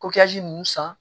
ninnu san